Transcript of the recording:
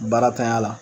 Baaratanya la